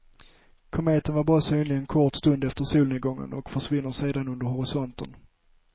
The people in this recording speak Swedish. Kometen är bara synlig en kort stund efter solnedgången och försvinner sedan under horisonten.